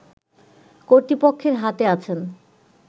কর্তৃপক্ষের হাতে আছেন